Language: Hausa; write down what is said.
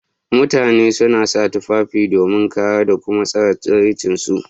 Mutani suna sa tufafi domin kare d kuma tsare tsiranci su.